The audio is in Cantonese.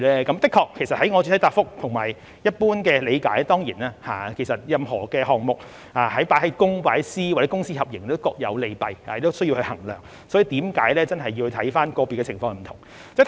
的確，正如我在主體答覆所說及根據一般理解，任何項目放在公營模式、放在私營模式或由公私合營進行也各有利弊，需要作出衡量，所以是真的要看個別不同的情況。